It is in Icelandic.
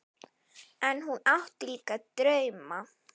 En hún átti líka drauma.